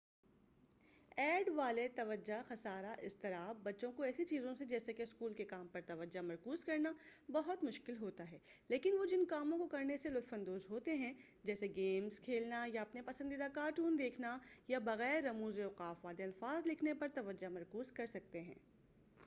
add توجہ خسارہ اضطراب والے بچوں کو ایسی چیزوں سے، جیسے کہ اسکول کے کام پر توجہ مرکوز کرنا بہت مشکل ہوتا ہے لیکن وہ جن کاموں کو کرنے سے لطف اندوز ہوتے ہیں جیسے گیمز کھیلنا یا اپنے پسندیدہ کارٹون دیکھنا یا بغیر رموز اوقاف والے الفاظ لکھنے پر توجہ مرکوز کر سکتے ہیں-